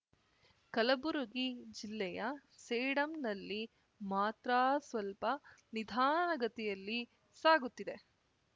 ಕಲಬುರಗಿ ಜಿಲ್ಲೆಯ ಸೇಡಂನಲ್ಲಿ ಮಾತ್ರ ಸ್ವಲ್ಪ ನಿಧಾನಗತಿಯಲ್ಲಿ ಸಾಗುತ್ತಿದೆ